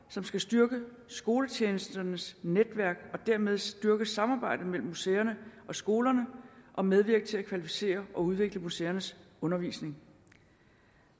som skal styrke skoletjenesternes netværk og dermed styrke samarbejdet mellem museerne og skolerne og medvirke til at kvalificere og udvikle museernes undervisning